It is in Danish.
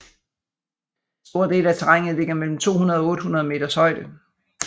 Store dele af terrænet ligger mellem 200 og 800 meters højde